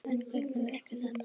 En hvernig verk er þetta?